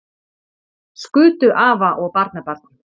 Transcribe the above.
Skutu afa og barnabarn